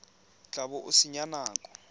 tla bo o senya nako